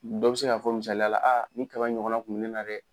Dɔ be se ka fɔ misayala , a nin kaba in ɲɔgɔnna kun be ne na dɛ!